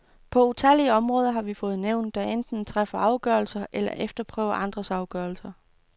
På utallige områder har vi fået nævn, der enten træffer afgørelser eller efterprøver andres afgørelser.